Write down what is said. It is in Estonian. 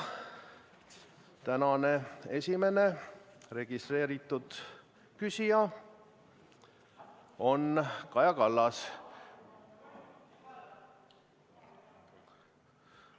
Tänane esimene registreeritud küsija on Kaja Kallas.